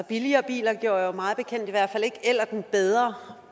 billigere biler gjorde mig bekendt i hvert fald ikke ellerten bedre